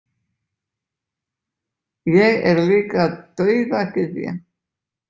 Ég er líka dauðagyðja.